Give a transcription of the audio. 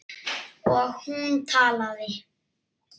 Og hún talaði.